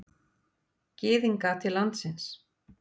Gyðinga til landsins.